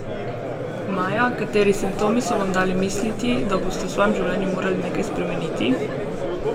Maja, kateri simptomi so vam dali misliti, da boste v svojem življenju morali nekaj spremeniti?